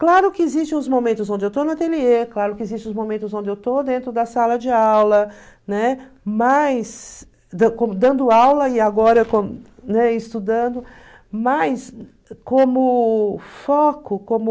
Claro que existem os momentos onde eu estou no ateliê, claro que existem os momentos onde eu estou dentro da sala de aula, né, mas dando aula e agora né, estudando, mas como foco, como...